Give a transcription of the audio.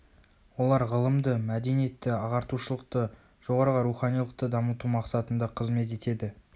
олар ғылымды мәдениетті ағартушылықты жоғарғы руханилықты дамыту мақсатында қызмет етеді